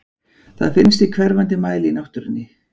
Það finnst í hverfandi mæli í náttúrunni.